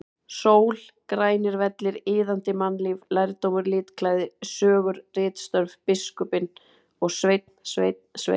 Sól, grænir vellir, iðandi mannlíf, lærdómur, litklæði, sögur, ritstörf, biskupinn og Sveinn, Sveinn, Sveinn!!!